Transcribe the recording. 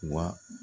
Wa